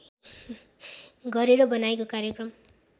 गरेर बनाएको कार्यक्रम